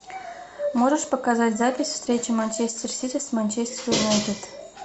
можешь показать запись встречи манчестер сити с манчестер юнайтед